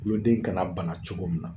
Kuloden kana bana cogo min na